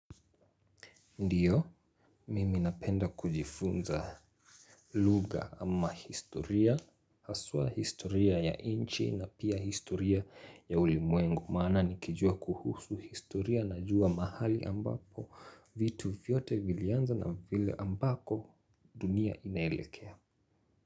Ndiyo, mimi napenda kujifunza lugha ama historia, haswa historia ya nchi na pia historia ya ulimwengu. Maana nikijua kuhusu historia najua mahali ambapo vitu vyote vilianza na vile ambako dunia inaelekea.